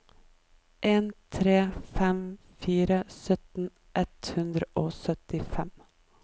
en tre fem fire sytten ett hundre og syttifem